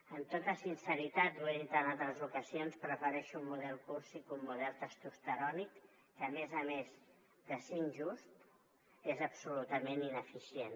amb tota sinceritat ho he dit en altres ocasions prefereixo un model cursi que un model testosterònic que a més a més de ser injust és absolutament ineficient